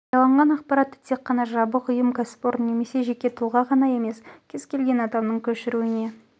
жарияланған ақпаратты тек қана жабық ұйым кәсіпорын немесе жеке тұлға ғана емес кез келген адамның көшіруіне